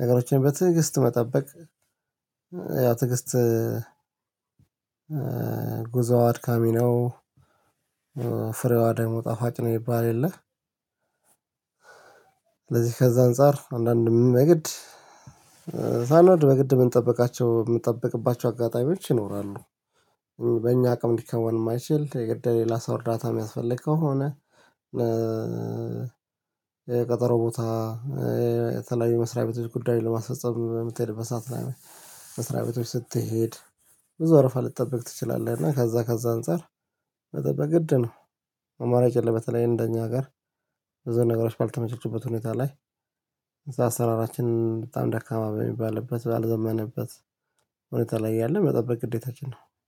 ነገሮችን በትዕግስት መጠበቅ ያው ትዕግስት ጉዞዋድ አድካሚ ነው። ፍሬዋ ደግሞ ጣፋጭ ነው ይባል የለም። ስለዚህ ከዛ አንፃር አንዳንድ የግድ ሳንወድ በግድ ምንጠብቃቸው የምንጠብቅባቸው አጋጣሚዎች ይኖራሉ። በእኛ አቅም ሊከወን የማይችል የግድ ሌላ ላሳ እርዳታ የሚያስፈልግ ከሆነ። የቀጠሮ ቦታ የተለያዩ መስሪያ ቤቶች ጉዳይ ለማስፈፀም በምትሄድ በሰአት መስሪያ ቤቶች ስትሄድ ብዙ ወረፋ ልትጠብቅ ትችላለህ። እና ከዛ ከዛ አንፃር መጠበቅ ግድ ነው። አማራጭ የለም። በተለይ እንደኛ አገር በዙ ነገራችን ባልተመቸችበት ሁኔታ ላይ ብዙ አሰራራችንን በጣም ደካማ በሚባልበት ባልዘመነበት እውነት ላይ ያለ መጠበቅ ግዴታችን ነው